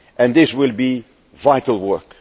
This will be vital work.